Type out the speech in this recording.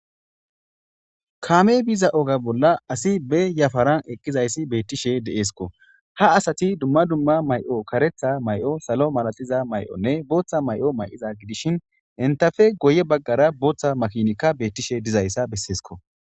Kaamey biza oga bolla asi bee yaparan eqqizaysi beettishe de7esko .Ha asati dumma dumma may7o karetha may7o, salo malatiza may7onne booththa may7o may7ida gidishin enta ppe guyye baggara bootha makinika beettishe dizaysa besseesko.